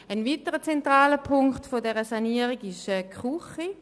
Ein weiterer zentraler Punkt dieser Sanierung ist die Küche.